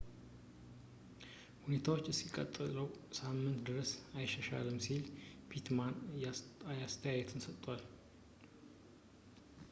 ሁኔታዎች እስከሚቀጥለው ሳምንት ድረስ አይሻሻሉም ሲል pittman አስተያየቱን ሰጥቷል